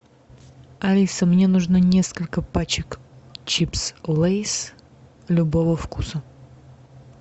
алиса мне нужно несколько пачек чипс лейс любого вкуса